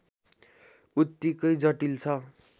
उत्तिकै जटिल छ